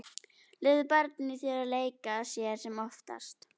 Leyfðu barninu í þér að leika sér sem oftast.